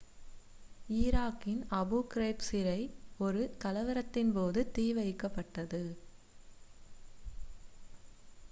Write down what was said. ஈராக்கின் Abu Ghraib சிறை ஒரு கலவரத்தின் போது தீ வைக்கப்பட்டது